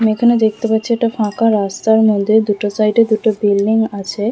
আমরা এখানে দেখতে পাচ্ছি একটা ফাঁকা রাস্তা মন্দিরের দুটো সাইড -এ দুটো বিল্ডিং আছে ।